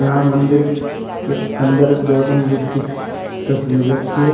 यहां मंदिर के अंदर गौतम बुद्ध की तस्वीर रखी है।